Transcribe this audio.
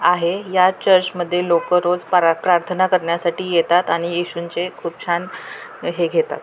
आहे या चर्चमध्ये लोक रोज प्रार्थना करण्यासाठी येतात आणि येशूंचे खूप छान हे घेतात.